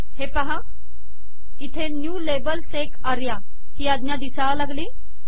हे पाहा इथे न्यू लाबेल एसईसी आर्या ही अज्ञे दिसायला लागली